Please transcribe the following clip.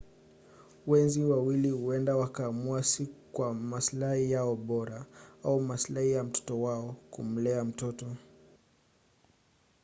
wenzi wawili huenda wakaamua si kwa masilahi yao bora au masilahi ya mtoto wao kumlea mtoto